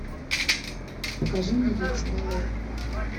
покажи мне яйцеголовые